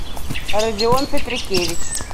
родион петрикевич